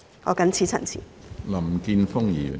我謹此陳辭。